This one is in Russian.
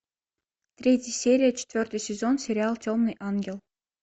третья серия четвертый сезон сериал темный ангел